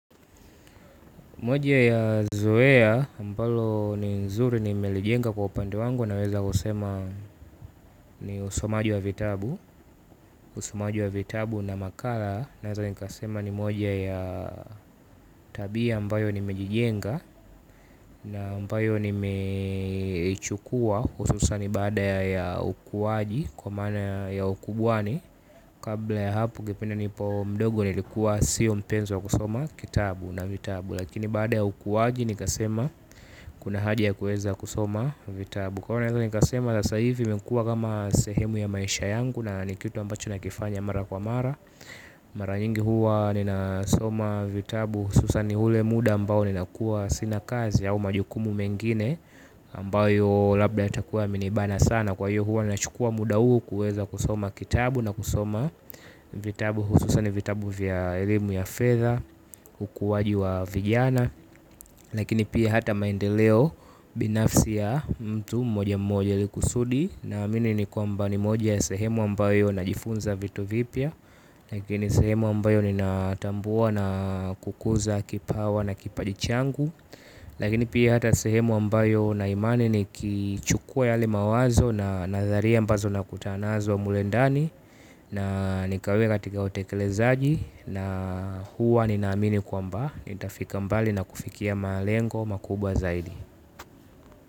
Moja ya zoea ambalo ni nzuri nimelijenga kwa upande wangu naweza kusema ni usomaji wa vitabu. Usomaji wa vitabu na makala naweza nikasema ni moja ya tabia ambayo nimejijenga. Na ambayo nimechukua hususani baada ya ukuwaji kwa mana ya ukubwani. Kabla ya hapo ungependa nipo mdogo nilikuwa siyo mpenzi wa kusoma kitabu na vitabu. Lakini baada ya ukuwaji nikasema kuna haja ya kuweza kusoma vitabu. Kwa hio naweza nikasema sasa ivi imekuwa kama sehemu ya maisha yangu na ni kitu ambacho nakifanya mara kwa mara. Mara nyingi huwa ninasoma vitabu hususani hule muda ambao ninakuwa sina kazi au majukumu mengine ambayo labda yatakuwa yamenibana sana kwa hiyo huwa ninachukua muda huo kuweza kusoma kitabu na kusoma vitabu hususani vitabu vya elimu ya fedha ukuwaji wa vijana lakini pia hata maendeleo binafsi ya mtu mmoja mmoja ili kusudi naamini ni kwamba ni moja ya sehemu ambayo najifunza vitu vipya lakini sehemu ambayo ninatambua na kukuza kipawa na kipaji changu lakini pia hata sehemu ambayo naimani nikichukua yale mawazo na nadharia ambazo nakutana nazo mule ndani na nikaweka katika utekelezaji. Na huwa ninaamini kwamba nitafika mbali na kufikia malengo makubwa zaidi.